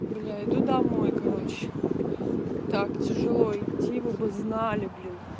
бля иду домой короче так тяжело идти вы бы знали блин